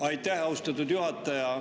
Aitäh, austatud juhataja!